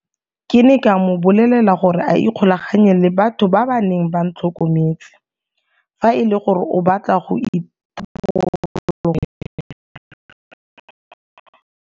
Ke ne ka mo bolelela gore a ikgolaganye le batho ba ba neng ba ntlhokometse fa e le gore o batla go itharabologelwa.